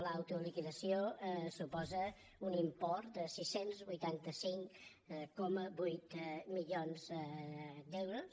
l’autoliquidació suposa un import de sis cents i vuitanta cinc coma vuit milions d’euros